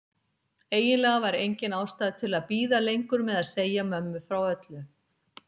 Eiginlega var engin ástæða til að bíða lengur með að segja mömmu frá öllu.